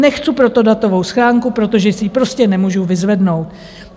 Nechcu proto datovou schránku, protože si ji prostě nemůžu vyzvednout.